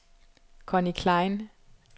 Conny Klein